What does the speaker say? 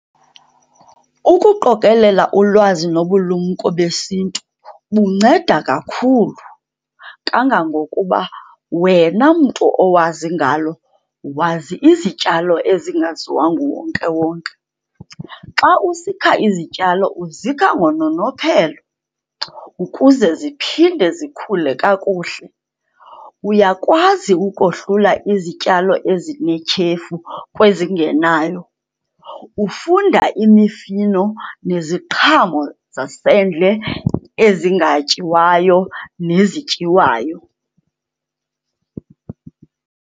Ukuqokelela ulwazi nobulumko besintu bunceda kakhulu kangangokuba wena mntu owazi ngalo, wazi izityalo ezingaziwa nguwonkewonke. Xa usikha izityalo uzikha ngononophelo ukuze ziphinde zikhule kakuhle, uyakwazi ukohlula izityalo ezinetyhefu kwezingenayo, ufunda imifino neziqhamo zasendle ezingatyiwayo nezityiwayo.